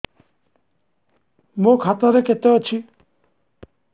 ମୋ ଖାତା ରେ କେତେ ଅଛି